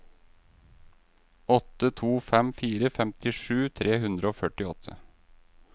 åtte to fem fire femtisju tre hundre og førtiåtte